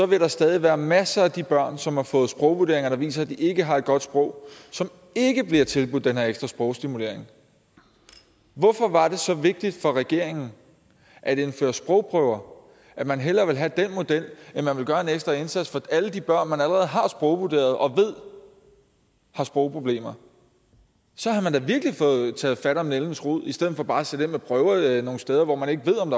vil der stadig være masser af de børn som har fået sprogvurderinger der viser at de ikke har et godt sprog og som ikke bliver tilbudt den her ekstra sprogstimulering hvorfor var det så vigtigt for regeringen at indføre sprogprøver at man hellere vil have den model end man vil gøre en ekstra indsats for alle de børn som man allerede har sprogvurderet og ved har sprogproblemer så havde man da virkelig fået taget fat om nældens rod i stedet for bare at sætte ind med prøver nogle steder hvor man ikke ved om